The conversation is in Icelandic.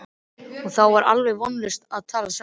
Og þá var alveg vonlaust að tala saman.